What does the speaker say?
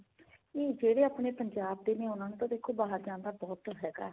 ਨਹੀਂ ਜਿਹੜੇ ਆਪਣੇ ਪੰਜਾਬ ਦੇ ਨੇ ਉਹਨਾ ਨੂੰ ਤਾਂ ਬਾਹਰ ਜਾਣ ਦਾ ਬਹੁਤ ਹੈਗਾ